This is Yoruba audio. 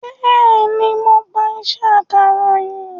Bẹ́ẹ̀ni, mo gba iṣẹ́ akàròyìn